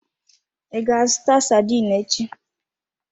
I ga-azụta sardine echi?